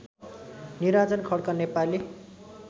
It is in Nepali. निराजन खड्का नेपाली